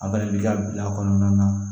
A bɛɛ de bi ka bila a kɔnɔna na